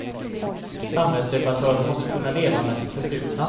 Samhällsdebattörer måste kunna leva med sitt förflutna.